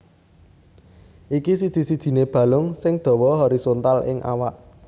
Iki siji sijiné balung sing dawa horizontal ing awak